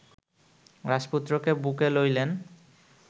রাজপুত্রকে বুকে লইলেন